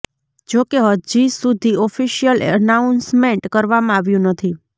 જોકે હજી સુધી ઓફિશિયલ એનાઉન્સમેન્ટ કરવામાં આવ્યું નથી